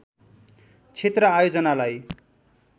क्षेत्र आयोजनालाई